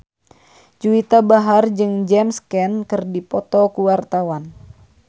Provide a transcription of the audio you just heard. Juwita Bahar jeung James Caan keur dipoto ku wartawan